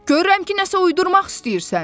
Görürəm ki, nəsə uydurmaq istəyirsən.